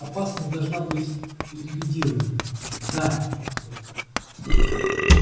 опасность должна быть ликвидирована да охотник